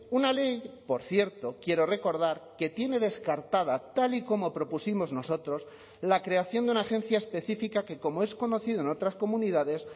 una ley por cierto quiero recordar que tiene descartada tal y como propusimos nosotros la creación de una agencia específica que como es conocido en otras comunidades